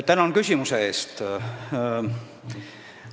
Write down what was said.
Tänan küsimuse eest!